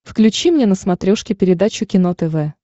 включи мне на смотрешке передачу кино тв